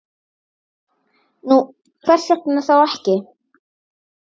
Nú, hvers vegna þá ekki?